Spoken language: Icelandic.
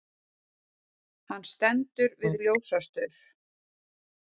Hann stendur við ljósastaur.